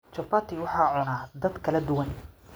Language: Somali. Chapati waxaa cuna dad kala duwan.